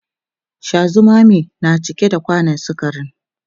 Sha zumame ne cike da kwanan sukarin